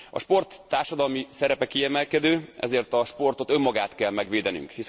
A sport társadalmi szerepe kiemelkedő, ezért a sportot önmagát kell megvédenünk.